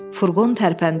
Furqon tərpəndi.